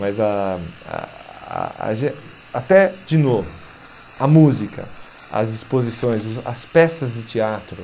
Mas a a a gen até, de novo, a música, as exposições, os as peças de teatro.